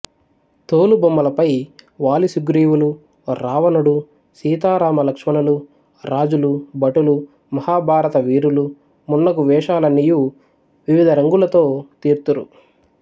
తోలుబొమ్మలపై వాలిసుగ్రీవులు రావణుడు సీతారామలక్ష్మణులు రాజులు భటులు మహాభారత వీరులు మున్నగు వేషాలన్నియు వివిధ రంగులతో తీర్తురు